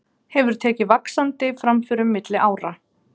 Hefur tekið vaxandi framförum milli ára.